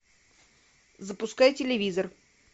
запускай телевизор